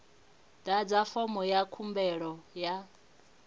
ḓadza fomo ya khumbelo ya